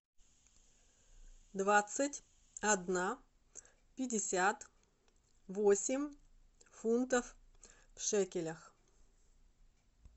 двадцать одна пятьдесят восемь фунтов в шекелях